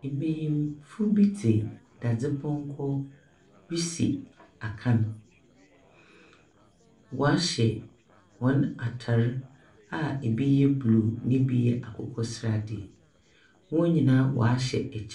Mmarima bi de dadepɔnkɔ resi akan wahyɛ wɔn ataade a ebi yɛ bluu na ebi yɛ akokɔsrade wɔn nyinaa ahyɛ no akyire.